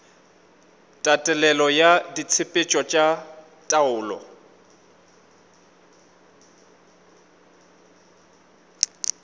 tatelelo ya ditshepetšo tša taolo